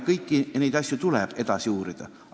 Kõiki neid asju tuleb edasi uurida.